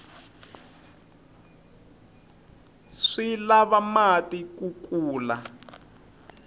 swi lava mati ku kula